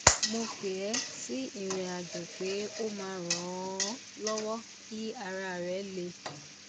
mo pè é sí ìrìnàjò pé ó máa ran an lọwọ kí ara rẹ le